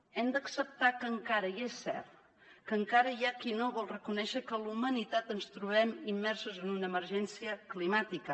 hem d’acceptar que encara i és cert hi ha qui no vol reconèixer que la humanitat ens trobem immersos en una emergència climàtica